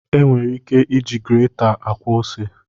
E nwere ike iji greta akwọ ose